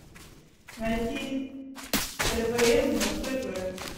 найти твм на тв